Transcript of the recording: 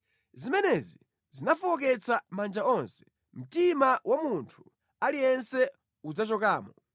Zimenezi zinafowoketsa manja onse, mtima wa munthu aliyense udzachokamo.